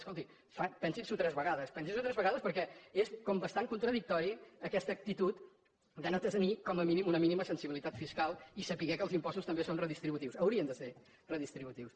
escolti clar pensi s’ho tres vegades pensi s’ho tres vegades perquè és com bastant contradictòria aquesta actitud de no tenir com a mínim una mínima sensibilitat fiscal i saber que els impostos també són redistributius haurien de ser redistributius